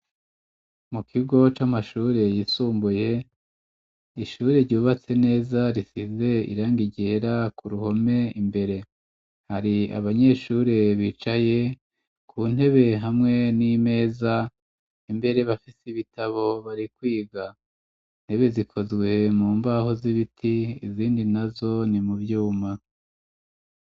Mu kigo c'amashuri yisumbuye ishuri ryubatse neza risize irang ryera ku ruhome imbere hari abanyeshure bicaye ku ntebe hamwe n'imeza imbere bafise ibitabo bari kwiga intebe zikozwe mu mbaho z'ibiti izindi nazo ni mu vyuma.